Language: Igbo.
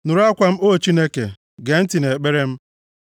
Nụrụ akwa m, O Chineke, gee ntị nʼekpere m.